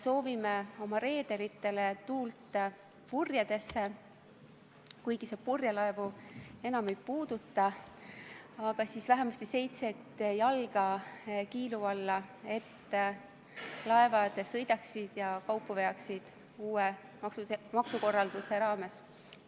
Soovime oma reederitele tuult purjedesse – kuigi see eelnõu purjelaevu enam ei puuduta – või vähemasti seitset jalga vett kiilu alla, et laevad sõidaksid ja veaksid kaupa uue maksukorralduse raames!